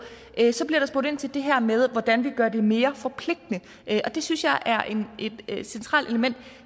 så bliver der spurgt ind til det her med hvordan vi gør det mere forpligtende og det synes jeg er et centralt element